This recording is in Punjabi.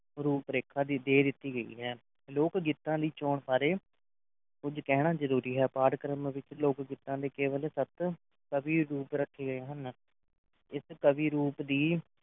ਰੂਪ ਰੇਖਾ ਦੀ ਦੇ ਦਿੱਤੀ ਗਈ ਹੈ ਲੋਕ ਗੀਤਾਂ ਦੀ ਚੋਣ ਸਾਰੇ ਕੁਝ ਕਹਿਣਾ ਜ਼ਰੂਰੀ ਹੈ ਪਾਠਕ੍ਰਮ ਵਿੱਚ ਲੋਕ-ਗੀਤਾਂ ਦੀ ਕੇਵਲ ਸਤ ਕਵੀ ਰੂਪ ਰੱਖੇ ਗਏ ਹਨ ਇਸ ਕਵੀ ਰੂਪ ਦੀ